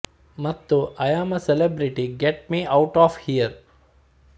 ಮತ್ತು I am a celebrity get me out of here